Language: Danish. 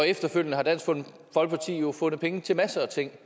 efterfølgende har dansk folkeparti jo fundet penge til masser af ting